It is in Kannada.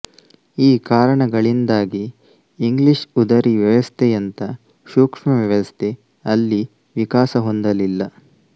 ಈ ಕಾರಣಗಳಿಂದಾಗಿ ಇಂಗ್ಲಿಷ್ ಉದರಿ ವ್ಯವಸ್ಥೆಯಂಥ ಸೂಕ್ಷ್ಮ ವ್ಯವಸ್ಥೆ ಅಲ್ಲಿ ವಿಕಾಸ ಹೊಂದಲಿಲ್ಲ